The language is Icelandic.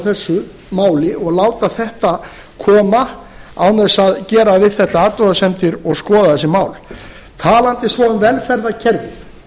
þessu máli og láta þetta koma án þess að gera við þetta athugasemdir og skoða þessi mál talandi svo um velferðarkerfi